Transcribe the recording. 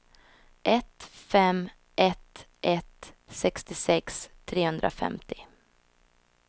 ett fem ett ett sextiosex trehundrafemtio